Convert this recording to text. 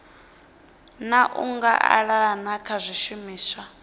na u anganelana kha zwishumiswa